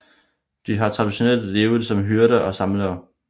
De har traditionelt levet som hyrder og samlere